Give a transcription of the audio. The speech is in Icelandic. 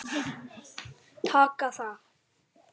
Taka það?